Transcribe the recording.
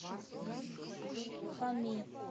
хами